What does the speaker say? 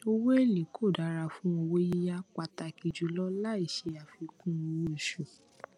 owo ele ko dara fun owo yiya pataki julo laìse afikun owo osu